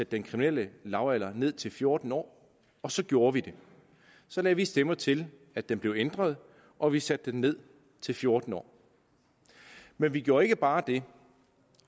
den kriminelle lavalder ned til fjorten år og så gjorde vi det så lagde vi stemmer til at den blev ændret og vi satte den ned til fjorten år men vi gjorde ikke bare det